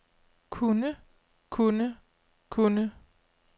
kunne kunne kunne